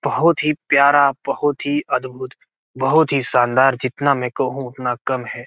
बहुत ही प्यार बहुत ही अद्भुत बहुत ही शानदार जितना मैं कहूँ उतना कम है।